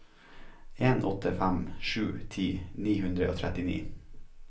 en åtte fem sju ti ni hundre og trettini